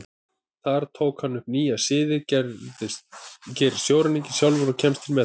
Þar tók hann upp nýja siði, gerist sjóræningi sjálfur og komst til metorða.